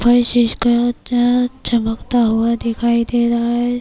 فرش اسکا چمکتا ہوا دکھایی دے رہا ہے،